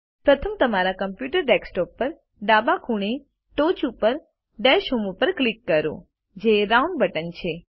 પ્રથમ તમારા computer desktop પર ડાબા ખૂણે ટોચ ઉપર ડેશ હોમ ઉપર ક્લિક કરો જે રાઉન્ડ બટન છે